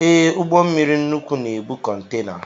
Ee, ụgbọmmiri nnukwu na-ebu kọntena